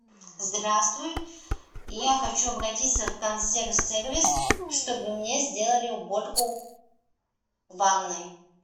здравствуй я хочу обратиться в консьерж сервис чтобы мне сделали уборку ванной